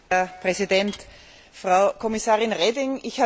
Herr Präsident, Frau Kommissarin Reding!